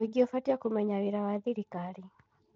Mũingĩ ũbatiĩ kũmenya wĩra wa thirikari.